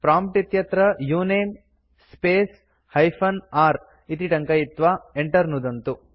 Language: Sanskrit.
प्रॉम्प्ट् इत्यत्र उनमे स्पेस् हाइपेन r इति टङ्कयित्वा enter नुदन्तु